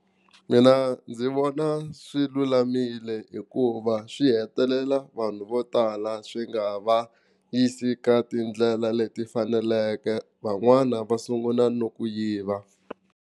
Mina ndzi vona swi lulamile hikuva swi hetelela vanhu vo tala swi nga va yisi ka tindlela leti faneleke van'wana va sungula no ku yiva.